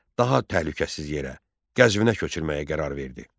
daha təhlükəsiz yerə, Gəzvinə köçürməyə qərar verdi.